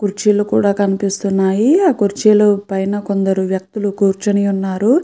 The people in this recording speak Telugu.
కుర్చీలు కూడ కనిపిస్తున్నాయి ఆ కుర్చీలు పైన కొందరు వ్యక్తులు కూర్చుని వున్నారు.